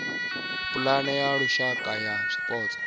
pulane ya lushaka ya zwipotso